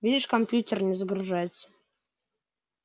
видишь компьютер не загружается